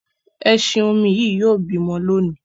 ẹṣin-omi Yí yóò bímọ lóni.